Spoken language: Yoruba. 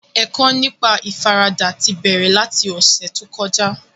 Ẹ̀kọ́ nípa ìfaradà ti bẹ̀rẹ̀ láti ọ̀sẹ̀ tó kọjá